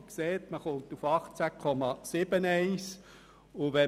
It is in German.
man kommt auf 18,71 Prozent.